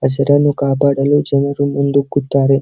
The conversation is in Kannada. ಹಸಿರನ್ನು ಕಾಪಾಡಲು ಜನರು ಮುಂದು ಕುತ್ತಾರೆ.